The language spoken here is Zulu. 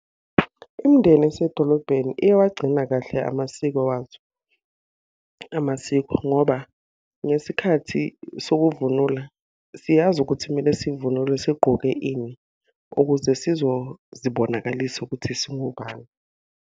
Imindeni esedolobheni iyawagcina kahle amasiko wazo, amasiko ngoba ngesikhathi sokuvunula, siyazi ukuthi kumele sivunule sigqoke ini. Ukuze sizozibonakalisa ukuthi singobani.